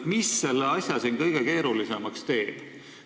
Mis selle asja kõige keerulisemaks teeb?